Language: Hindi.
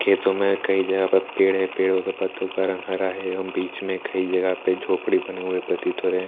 खेतों में कई जगह पर पेड़ है। पेड़ों के पत्तों का रंग हरा है। हम बीच में कई जगह पर झोपड़ी बने हुए प्रतीत हो रहे हैं।